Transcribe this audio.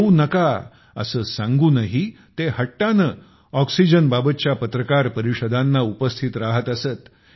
येऊ नका असे सांगूनही ते हट्टाने ऑक्सीजन बाबतच्या पत्रकार परिषदाना उपस्थित राहत असत